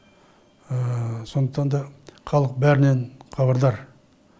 сондықтан да халық бәрінен хабардар